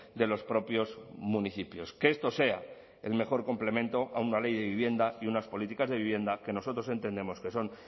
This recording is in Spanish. de los propios municipios que esto sea el mejor complemento a una ley de vivienda y unas políticas de vivienda que nosotros entendemos que son